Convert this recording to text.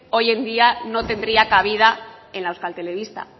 hoy en día no tendría cabida en la euskal telebista